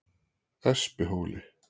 Espihóli